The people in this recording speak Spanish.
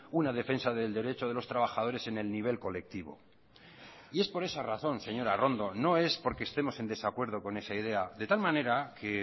una defensa del derecho de los trabajadores en el nivel colectivo y es por esa razón señora arrondo no es porque estemos en desacuerdo con esa idea de tal manera que